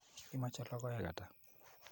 Imoche logoek ata?